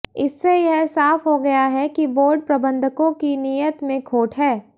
इससे यह साफ हो गया है कि बोर्ड प्रबंधकों की नीयत में खोट हैं